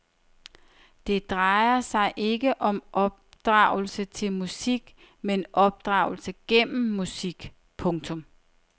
Det drejer sig ikke om opdragelse til musik men opdragelse gennem musik. punktum